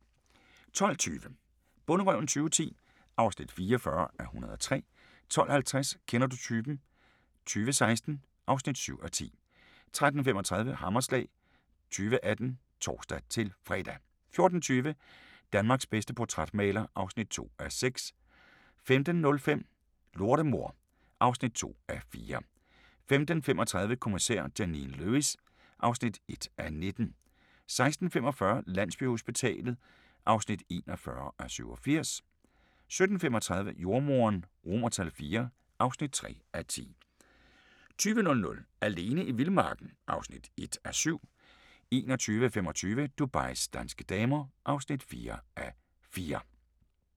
12:20: Bonderøven 2010 (44:103) 12:50: Kender du typen? 2016 (7:10) 13:35: Hammerslag 2018 (tor-fre) 14:20: Danmarks bedste portrætmaler (2:6) 15:05: Lortemor (2:4) 15:35: Kommissær Janine Lewis (1:19) 16:45: Landsbyhospitalet (41:87) 17:35: Jordemoderen IV (3:10) 20:00: Alene i vildmarken (1:7) 21:25: Dubais danske damer (4:4)